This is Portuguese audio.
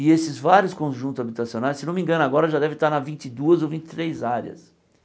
E esses vários conjuntos habitacionais, se não me engano, agora já deve estar na vinte e duas ou vinte e três áreas.